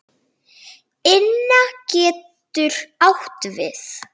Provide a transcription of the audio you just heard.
Inna getur átt við